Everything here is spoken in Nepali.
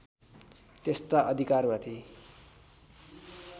त्यस्ता अधिकारमाथि